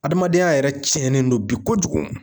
Adamadenya yɛrɛ cɛnnen don bi kojugu